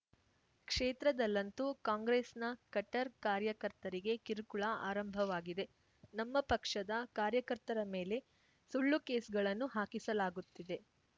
ಕ್ಷೇತ್ರದಲ್ಲಂತೂ ಕಾಂಗ್ರೆಸ್‌ನ ಕಟ್ಟರ್‌ ಕಾರ್ಯಕರ್ತರಿಗೆ ಕಿರುಕುಳ ಆರಂಭವಾಗಿದೆ ನಮ್ಮ ಪಕ್ಷದ ಕಾರ್ಯಕರ್ತರ ಮೇಲೆ ಸುಳ್ಳು ಕೇಸ್‌ಗಳನ್ನು ಹಾಕಿಸಲಾಗುತ್ತಿದೆ